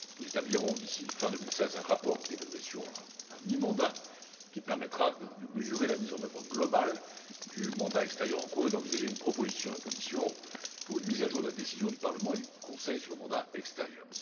Nous établirons d'ici fin 2016 un rapport d'évaluation à mi mandat, qui permettra de mesurer la mise en œuvre globale du mandat extérieur en cours et d'envisager une proposition de la Commission pour une mise à jour de la décision du Parlement et du Conseil sur le mandat extérieur.